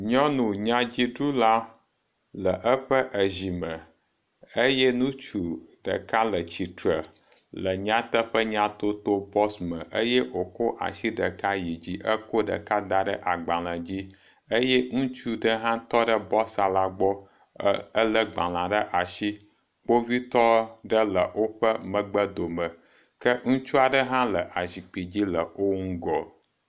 Nyɔnu nyadziɖula le eƒe ezi me eye ŋutsu ɖeka le tsitre le nyateƒe nyatoto bɔx me eye wokɔ asi ɖeka yi dzi ekɔ ɖeka da ɖe agbale dzi eye ŋutsu ɖe hã tɔ ɖe bɔxa la gbɔ ele gbala ɖe asi. Kpovitɔ ɖe le woƒe megbe dome ke ŋutsu aɖe hã le azikpi dzi le wo ŋgɔ.